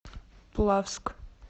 плавск